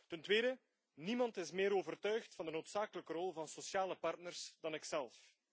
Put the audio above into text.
Ten tweede, niemand is meer overtuigd van de noodzakelijke rol van sociale partners dan ikzelf.